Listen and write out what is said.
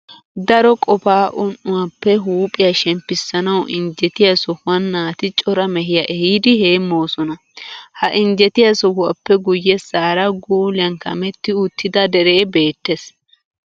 Daro qofaa un"uawappe huuphiya shemppissanawu injjetiya sohuwan naati cora mehiya ehiidi heemmoosona. Ha injjetiya sohuwappe guyyessaara guuliyan kametti uttida deree beettes.